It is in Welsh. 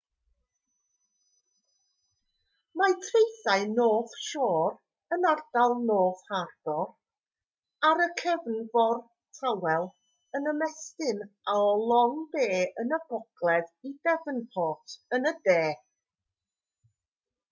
mae traethau north shore yn ardal north harbour ar y cefnfor tawel ac yn ymestyn o long bay yn y gogledd i devonport yn y de